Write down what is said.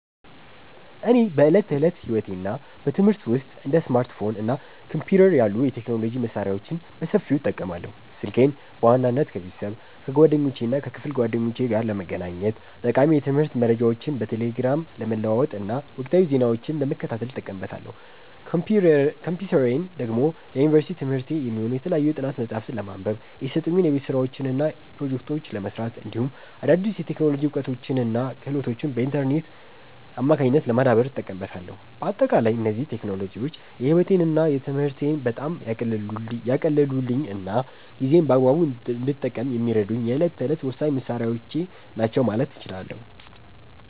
እኔ በዕለት ተዕለት ሕይወቴና በትምህርቴ ውስጥ እንደ ስማርትፎን እና ኮምፒውተር ያሉ የቴክኖሎጂ መሣሪያዎችን በሰፊው እጠቀማለሁ። ስልኬን በዋናነት ከቤተሰብ፣ ከጓደኞቼና ከክፍል ጓደኞቼ ጋር ለመገናኘት፣ ጠቃሚ የትምህርት መረጃዎችን በቴሌግራም ለመለዋወጥና ወቅታዊ ዜናዎችን ለመከታተል እጠቀምበታለሁ። ኮምፒውተሬን ደግሞ ለዩኒቨርሲቲ ትምህርቴ የሚሆኑ የተለያዩ የጥናት መጽሐፍትን ለማንበብ፣ የተሰጡኝን የቤት ሥራዎችና ፕሮጀክቶች ለመሥራት፣ እንዲሁም አዳዲስ የቴክኖሎጂ እውቀቶችንና ክህሎቶችን በኢንተርኔት አማካኝነት ለማዳበር እጠቀምበታለሁ። በአጠቃላይ እነዚህ ቴክኖሎጂዎች ሕይወቴንና ትምህርቴን በጣም ያቀለሉልኝና ጊዜዬን በአግባቡ እንድጠቀም የሚረዱኝ የዕለት ተዕለት ወሳኝ መሣሪያዎቼ ናቸው ማለት እችላለሁ።